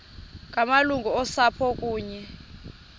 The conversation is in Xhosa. ngamalungu osapho kunye